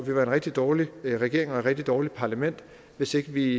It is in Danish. en rigtig dårlig regering og et rigtig dårligt parlament hvis ikke vi